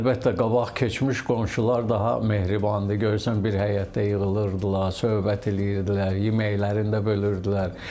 Əlbəttə, qabaq keçmiş qonşular daha mehribandır, görürsən bir həyətdə yığılırdılar, söhbət eləyirdilər, yeməklərini də bölürdülər.